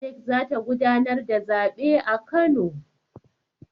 INEC za ta gudanar da zabe a Kano.